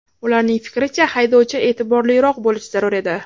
Ularning fikricha, haydovchi e’tiborliroq bo‘lishi zarur edi.